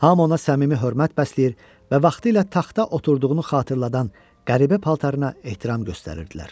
Hamı ona səmimi hörmət bəsləyir və vaxtilə taxta oturduğunu xatırladan qəribə paltarına ehtiram göstərirdilər.